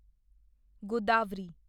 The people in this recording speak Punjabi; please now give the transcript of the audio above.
ਗੋਦਾਵਰੀ